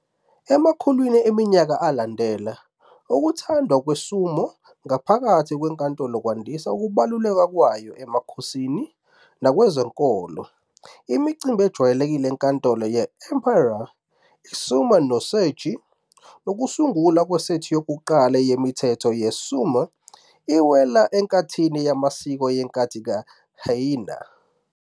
Emakhulwini eminyaka alandela, ukuthandwa kwesumo ngaphakathi kwenkantolo kwandise ukubaluleka kwayo emkhosini nakwezenkolo. Imicimbi ejwayelekile enkantolo ye-Emperor, i-sumai no sechie, nokusungulwa kwesethi yokuqala yemithetho ye-sumo iwela enkathini yamasiko yenkathi ka-Heian.